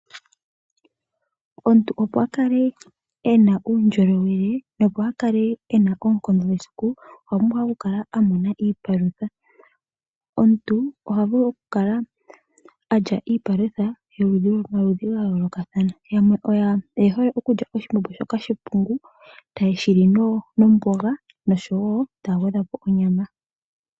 Omuntu opo a kale ena uundjolowele nopo a kale ena oonkondo mesiku, okwa pumbwa a kale a mona iipalutha. Omuntu oha vulu okukala a lya iipalutha yomaludhi ga yoolokathana. Yamwe oye hole okulya oshimbombo shoka she pungu. Taye shi li nomboga noshowo taya gwedha po onyama.